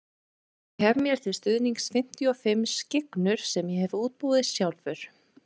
Ég hef mér til stuðnings fimmtíu og fimm skyggnur sem ég hef útbúið sjálfur.